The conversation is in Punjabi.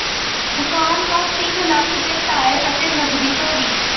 ਦੁਕਾਨ ਤੋਂ ਤਿੰਨ ਲੱਖ ਦੇ ਟਾਇਰ ਅਤੇ ਨਕਦੀ ਚੋਰੀ